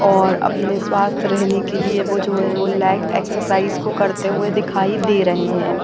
और अपने स्वस्थ्य रहने के लिए वो जो लेग एक्सरसाइज को करते हुए दिखाई दे रहे हैं।